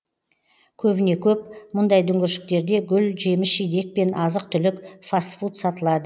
көбіне көп мұндай дүңгіршектерде гүл жеміс жидек пен азық түлік фаст фуд сатылады